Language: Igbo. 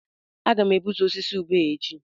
Aga m egbutu osisi ube a echi